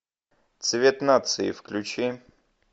цвет нации включи